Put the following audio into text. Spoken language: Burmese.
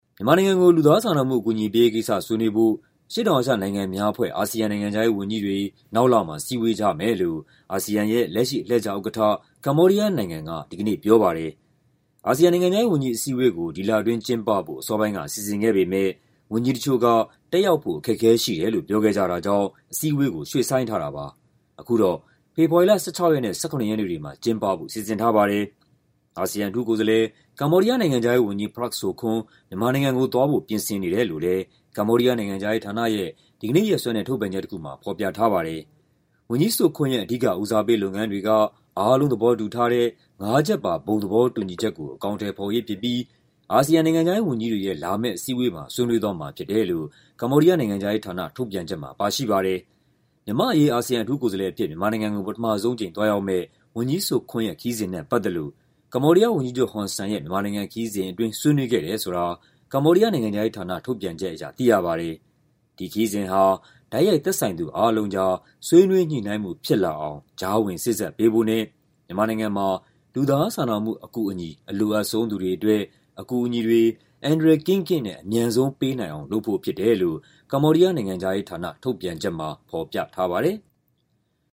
မြန်မာနိုင်ငံကို လူသားစာနာမှု အကူအညီပေးရေးကိစ္စ ဆွေးနွေးဖို့ အရှေ့တောင်အာရှ နိုင်ငံများအဖွဲ့ (ASEAN) နိုင်ငံခြားရေးဝန်ကြီးတွေ နောက်လမှာ စည်းဝေးကြမယ်လို့ အာဆီယံရဲ့ လက်ရှိ အလှည့်ကျဥက္ကဋ္ဌ ကမ္ဘောဒီးယားနိုင်ငံက ဒီကနေ့ ပြောပါတယ်။ အာဆီယံ နိုင်ငံခြားရေးဝန်ကြီး အစည်းအဝေးကို ဒီလအတွင်းကျင်းပဖို့ အစောပိုင်းက စီစဉ်ခဲ့ပေမယ့် ဝန်ကြီးတချို့က တက်ရောက်ဖို့ အခက်အခဲရှိတယ်လို့ ပြောခဲ့ကြတာကြောင့် အစည်းအဝေးကို ရွှေ့ဆိုင်းထားတာပါ။ အခုတော့ ဖေဖော်ဝါရီလ ၁၆ ရက်နဲ့ ၁၇ ရက်နေ့တွေမှာ ကျင်းပဖို့ စီစဉ်ထားပါတယ်။ အာဆီယံ အထူးကိုယ်စားလှယ်၊ ကမ္ဘောဒီးယား နိုင်ငံခြားရေးဝန်ကြီး Prak Sokhonn မြန်မာနိုင်ငံကိုသွားဖို့ ပြင်ဆင်နေတယ်လို့လည်း ကမ္ဘောဒီးယား နိုင်ငံခြားရေးဌာနရဲ့ ဒီကနေ့ရက်စွဲနဲ့ ထုတ်ပြန်ချက်တခုမှာ ဖော်ပြထားပါတယ်။ ဝန်ကြီး Sokhonn ရဲ့ အဓိက ဦးစားပေးလုပ်ငန်းတွေက "အားလုံးသဘောတူထားတဲ့ ငါးချက်ပါ ဘုံသဘောတူညီချက်ကို အကောင်အထည်ဖော်ရေးဖြစ်ပြီး အာဆီယံ နိုင်ငံခြားရေး ဝန်ကြီးတွေရဲ့ လာမယ့်အစည်းအဝေးမှာ ဆွေးနွေးသွားမှာဖြစ်တယ်လို့ ကမ္ဘောဒီးယား နိုင်ငံခြားရေးဌာန ထုတ်ပြန်ချက်မှာ ပါရှိပါတယ်။ မြန်မာ့အရေး အာဆီယံ အထူးကိုယ်စားလှယ်အဖြစ် မြန်မာနိုင်ငံကို ပထမဆုံးအကြိမ် သွားရောက်မယ့် ဝန်ကြီး Sokhonn ရဲ့ ခရီးစဉ်နဲ့ ပတ်သက်လို့ ကမ္ဘောဒီးယားဝန်ကြီးချုပ် ဟွန်ဆန်ရဲ့ ခရီးစဉ်အတွင်း ဆွေးနွေးခဲ့တယ်ဆိုတာ ကမ္ဘောဒီးယား နိုင်ငံခြားရေးဌာန ထုတ်ပြန်ချက်အရ သိရပါတယ်။ ဒီခရီးစဉ်ဟာ တိုက်ရိုက် သက်ဆိုင်သူအားလုံးကြား ဆွေးနွေးညှိနှိုင်းမှု ဖြစ်လာအောင် ကြားဝင်စေ့စပ်ပေးဖို့နဲ့ မြန်မာနိုင်ငံမှာ လူသားစာနာမှု အကူအညီ အလိုအပ်ဆုံး သူတွေအတွက် အကူအညီတွေ အန္တရာယ်ကင်းကင်းနဲ့ အမြန်ဆုံးပေးနိုင်အောင် လုပ်ဖို့ဖြစ်တယ်လို့ ကမ္ဘောဒီးယား နိုင်ငံခြားရေးဌာန ထုတ်ပြန်ချက်မှာ ဖော်ပြထားပါတယ်။